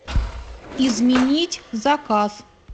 изменить заказ